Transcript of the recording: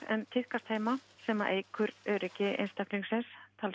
en tíðkast heima sem að eykur öryggi einstaklingsins